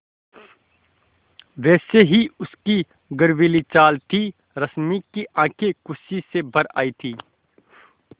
वैसी ही उसकी गर्वीली चाल थी रश्मि की आँखें खुशी से भर आई थीं